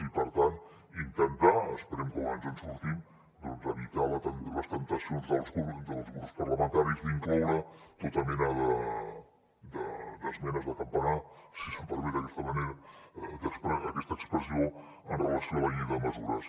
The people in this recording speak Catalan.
i per tant intentar esperem que ens en sortim doncs evitar les temptacions dels grups parlamentaris d’incloure tota mena d’esmenes de campanar si se’m permet aquesta expressió amb relació a la llei de mesures